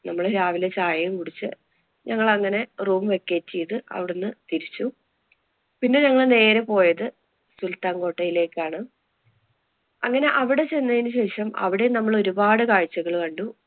നമ്മള് രാവിലെ ചായേം കുടിച്ച് ഞങ്ങള്‍ അങ്ങനെ room vacate ചെയ്ത് അവിടുന്ന് തിരിച്ചു. പിന്നെ ഞങ്ങള് നേരെ പോയത് സുല്‍ത്താന്‍ കോട്ടയിലേക്കാണ്. അങ്ങനെ അവിടെ ചെന്നതിനു ശേഷം അവിടേം നമ്മള് ഒരു കാഴ്ചകള്‍ കണ്ടു.